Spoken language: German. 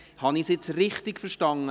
Habe ich Sarah Gabi richtig verstanden?